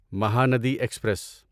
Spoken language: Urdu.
مہاندی ایکسپریس